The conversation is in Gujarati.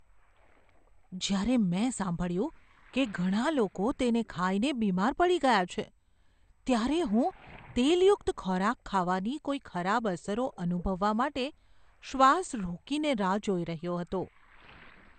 જ્યારે મેં સાંભળ્યું કે ઘણા લોકો તેને ખાઈને બીમાર પડી ગયા છે ત્યારે હું તેલયુક્ત ખોરાક ખાવાની કોઈ ખરાબ અસરો અનુભવવા માટે શ્વાસ રોકીને રાહ જોઈ રહ્યો હતો.